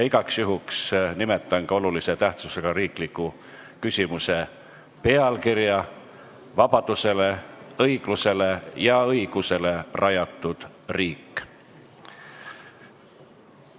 Igaks juhuks nimetan ka olulise tähtsusega riikliku küsimuse pealkirja: "Vabadusele, õiglusele ja õigusele rajatud riik".